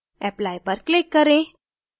apply पर click करें